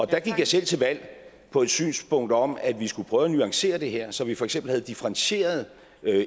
der gik jeg selv til valg på et synspunkt om at vi skulle prøve at nuancere det her så vi for eksempel havde differentierede